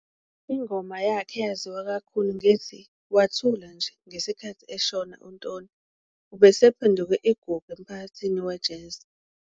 Ingoma yakhe eyaziwa kakhulu ngethi "Wa thula nje". Ngesikhathi eshona uNtoni ubesephenduke igugu emphakathini we-jazz.